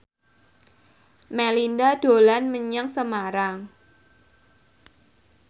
Melinda dolan menyang Semarang